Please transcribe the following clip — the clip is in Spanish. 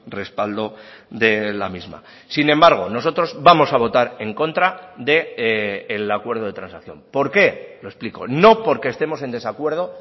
respaldo de la misma sin embargo nosotros vamos a votar en contra del acuerdo de transacción por qué lo explico no porque estemos en desacuerdo